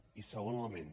i segon element